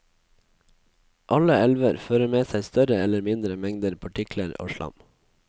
Alle elver fører med seg større eller mindre mengder partikler og slam.